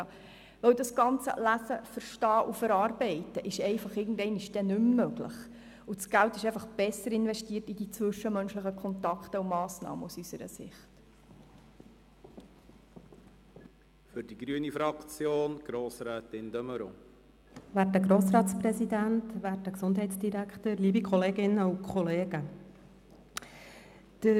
Das Lesen, Verstehen und Verarbeiten von schriftlichen Informationen ist irgendwann nicht mehr möglich, und dann wird das Geld aus unserer Sicht besser in zwischenmenschliche Kontakte investiert.